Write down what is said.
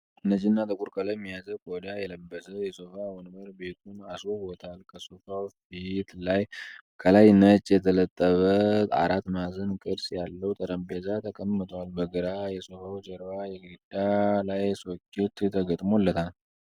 ነጭና ጥቁር ቀለም የያዘ ቆዳ የለበሰ የሶፋ ወንበር ቤቱን አስዉቦታል። ከሶፋዉ ፊት ላይ ከላይ ነጭ የተለበጠ አራት ማዕዘን ቅርፅ ያለዉ ጠረጴዛ ተቀምጧል። በግራ የሶፋዉ ጀርባ የግድግዳ ላይ ሶኬት ተገጥሞለታል።